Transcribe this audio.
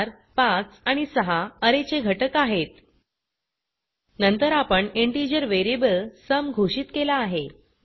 4 5 आणि 6 अरे चे घटक आहेत नंतर आपण इंटिजर वेरिएबल सुम घोषित केला आहे